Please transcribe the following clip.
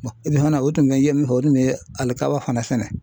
fana o tun bɛ n ye min fɔ o tun bɛ halikaba fana sɛnɛ.